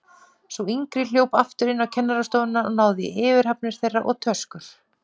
Sú yngri hljóp aftur inn á kennarastofuna og náði í yfirhafnir þeirra og töskur.